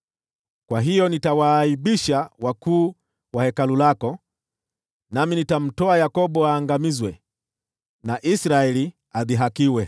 Kwa hiyo nitawaaibisha wakuu wa Hekalu lako, nami nitamtoa Yakobo aangamizwe, na Israeli adhihakiwe.